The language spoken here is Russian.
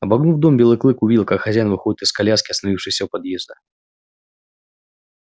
обогнув дом белый клык увидел как хозяин выходит из коляски остановившейся у подъезда